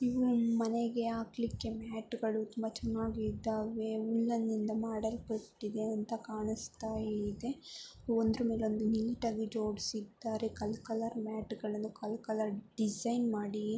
ಮನೆಗೆ ಹಾಕಲಿಕ್ಕೆ ಮ್ಯಾಟು ಗಳು ತುಂಬಾ ಚನ್ನಾಗಿ ಇದ್ದಾವೆ ಉಲ್ಲನ್ ಇಂದ ಮಡಲ್ಪಟ್ಟಿವೆ ಅಂತ ಕಾಣುಸ್ತ ಇದೆ. ಒಂದರ ಮೇಲೆ ಒಂದು ನೀಟಾಗಿ ಜೋಡಿಸಿದ್ದಾರೆ. ಕಲ್ ಕಲರ್ ಮ್ಯಾಟು ಗಳನ್ನ ಕಲ್ ಕಲರ್ ಡಿಸೈನ್ ಮಾಡಿ--